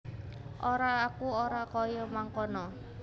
Ora aku ora kaya mangkono